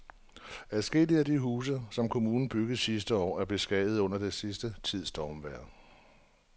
Adskillige af de huse, som kommunen byggede sidste år, er blevet beskadiget under den sidste tids stormvejr.